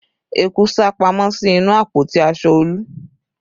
Eku sá pamọ́ sí inú àpótí aṣọ Olu